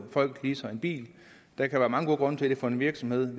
folk leaser en bil der kan være mange gode grunde til det for en virksomhed